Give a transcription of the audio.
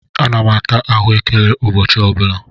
Ana m ata ahụekere ụbọchị ọ bụla.